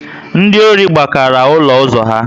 Ndị ọri gbakara olu ụzọ ha